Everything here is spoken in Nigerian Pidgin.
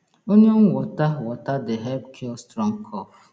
onion water water dey help cure strong cough